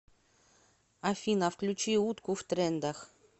афина включи утку в трендах